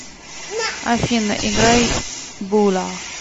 афина играй була